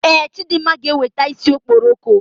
Ee, Chidimma ga eweta isi okporoko